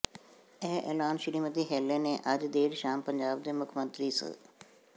ਇਹ ਐਲਾਨ ਸ੍ਰੀਮਤੀ ਹੈਲੇ ਨੇ ਅੱਜ ਦੇਰ ਸ਼ਾਮ ਪੰਜਾਬ ਦੇ ਮੁੱਖ ਮੰਤਰੀ ਸ